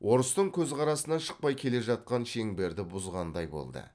орыстың көзқарасынан шықпай келе жатқан шеңберді бұзғандай болды